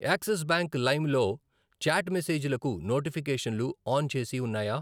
Axis bank Lime లో chat మెసేజీలకు నోటిఫికేషన్లు ఆన్ చేసి ఉన్నాయా?